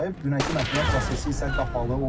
Dünənki məhkəmə prosesi isə qapalı olub.